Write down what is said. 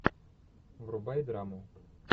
врубай драму